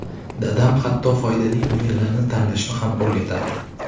Dadam hatto foydali o‘yinlarni tanlashni ham o‘rgatardi.